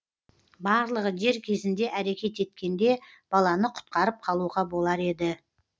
барлығы дер кезінде әрекет еткенде баланы құтқарып қалуға болар еді